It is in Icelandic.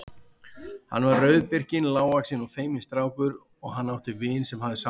Hann var rauðbirkinn, lágvaxinn og feiminn strákur og hann átti vin sem hafði sambönd.